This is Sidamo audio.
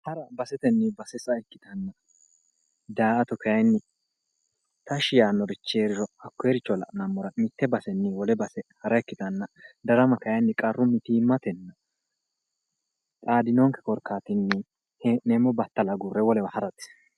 hara basetenni base sa''a ikkitanna daa''ata kayiinni tashshi yaannorichi heeriro hakkoyeericho la'nammora mitte basenni wole base hara ikkitanna darama kayiinni qarru mitiimmatenni xaadinonke korkaatinni hee'neemmo bayiicho agurre wolewa harate.